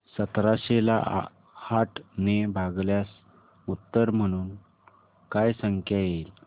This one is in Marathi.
सतराशे ला आठ ने भागल्यास उत्तर म्हणून काय संख्या येईल